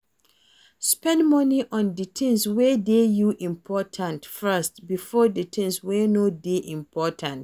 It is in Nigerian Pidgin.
Spend money on di things wey dey you important first before di things wey no dey important